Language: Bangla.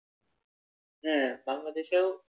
হ্যাঁ বাংলাদেশেও,